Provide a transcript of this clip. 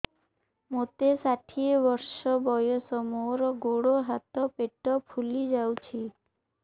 ମୋତେ ଷାଠିଏ ବର୍ଷ ବୟସ ମୋର ଗୋଡୋ ହାତ ପେଟ ଫୁଲି ଯାଉଛି